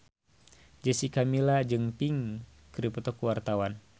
Jessica Milla jeung Pink keur dipoto ku wartawan